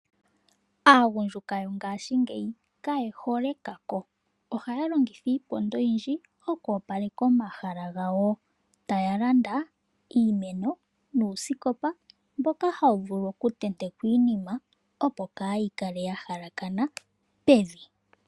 Aagundjuka yo ngaashingeyi kaye hole ekako, ohaya longitha iiponga oyindji oku opaleka omahala gawo. Taya landa uumeno nuusikopa mboka hawu vulu oku tentekwa iinima opo kaayi kale ya hakakana pevi.